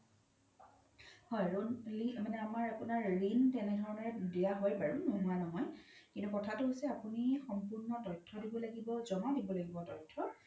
হয় loan মানে আপোনাৰ ৰিন তেনে ধৰনে দিয়া হয় বাৰু নোহুৱা ন হয় কিন্তু কথাতো হৈছে আপোনি সম্পুৰ্ন তইথো দিব লাগিব জ্মা দিব লাগিব তইথো